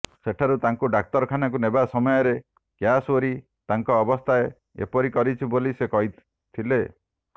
ସେଠାରୁ ତାଙ୍କୁ ଡାକ୍ତରଖାନାକୁ ନେବା ସମୟରେ କ୍ୟାସଓ୍ବରୀ ତାଙ୍କ ଅବସ୍ଥା ଏପରି କରିଛି ବୋଲି ସେ କହିଥିଲେ